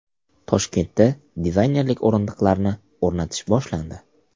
Toshkentda dizaynerlik o‘rindiqlarini o‘rnatish boshlandi.